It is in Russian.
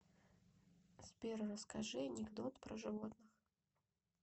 сбер расскажи анекдот про животных